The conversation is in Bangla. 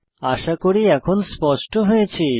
আশা করি এখন স্পষ্ট হয়েছে